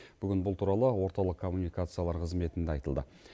бүгін бұл туралы орталық коммуникациялар қызметінде айтылды